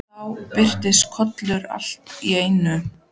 Þá birtist Kolur allt í einu.